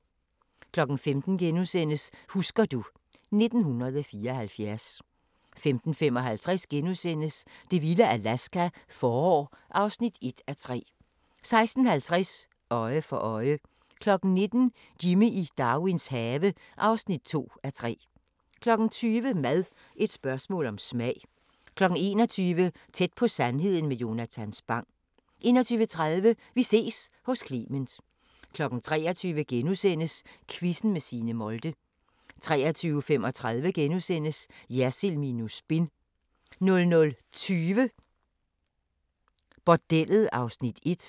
15:00: Husker du ... 1974 * 15:55: Det vilde Alaska – forår (1:3)* 16:50: Øje for øje 19:00: Jimmy i Darwins have (2:3) 20:00: Mad – et spørgsmål om smag 21:00: Tæt på sandheden med Jonatan Spang 21:30: Vi ses hos Clement 23:00: Quizzen med Signe Molde * 23:35: Jersild minus spin * 00:20: Bordellet (1:2)